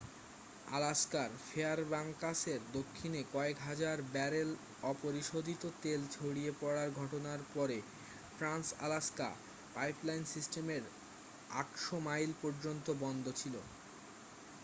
আলাস্কার ফেয়ারব্যাঙ্কসের দক্ষিণে কয়েক হাজার ব্যারেল অপরিশোধিত তেল ছড়িয়ে পড়ার ঘটনার পরে ট্রান্স-আলাস্কা পাইপলাইন সিস্টেমের 800 মাইল পর্যন্ত বন্ধ ছিল